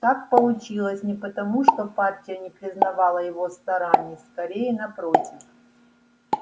так получилось не потому что партия не признавала его стараний скорее напротив